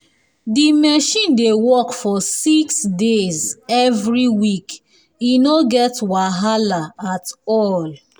di machine dey work for six days every week e no get wahala at all